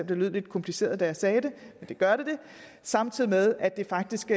det lød lidt kompliceret da jeg sagde det samtidig med at det faktisk